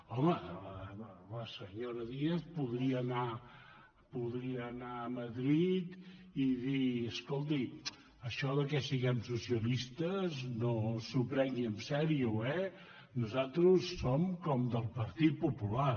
home la senyora díaz podria anar a madrid i dir escolti això que siguem socia·listes no s’ho prengui seriosament eh nosaltres som com del partit popular